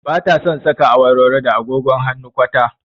Ba ta son saka awarwaro da agogon hannu kwata